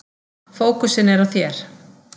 Fókusinn er á þér.